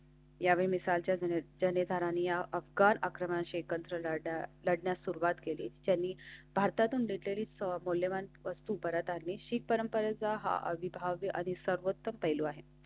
यावेळी मिस्र च्या जनाधार या अफगाण अकराशे एकत्र लढण्यास सुरुवात केली. त्यांनी भारतातून नितार्द मूल्यवाना वस्तु परत आले शीत परंपरेचा हा विभाग या आधी सर्वोच्च पैलू आहे.